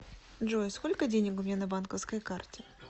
джой сколько денег у меня на банковской карте